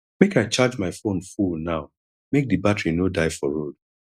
make i charge my fone full now make di battery no die for road